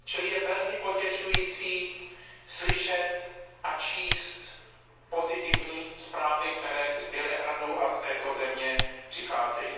Je velmi potěšující slyšet a číst pozitivní zprávy, které z Bělehradu a z této země přicházejí.